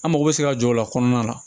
An mago bɛ se ka jɔ o la kɔnɔna la